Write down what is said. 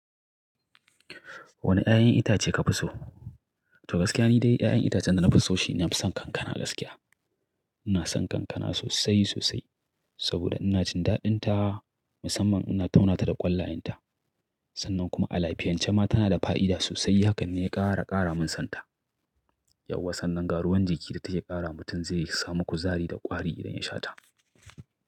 Wane ƴaƴan itace kafi so? To gaskiya ni dai ƴaƴan itacen da na fi so shine na fi son kankana gaskiya. Ina son kankana sosai sosai saboda ina jin daɗinta, musamman ina tauna ta da ƙwallayenta. Sannan kuma a lafiyance ma tana da fa'ida sosai hakan ne ya ƙara ƙara min sonta. Yauwa sannan ga ruwan jiki da take ƙara mutum zai samu kuzari da ƙwari idan ya sha ta.